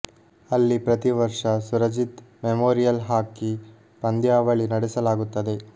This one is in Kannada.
ಅಲ್ಲಿ ಪ್ರತಿ ವರ್ಷ ಸುರಜಿತ್ ಮೆಮೋರಿಯಲ್ ಹಾಕಿ ಪಂನ್ದಾವಳಿ ನಡೆಸಲಾಗುತ್ತದೆ